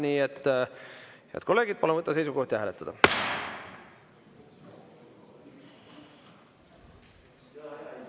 Nii et, head kolleegid, palun võtta seisukoht ja hääletada!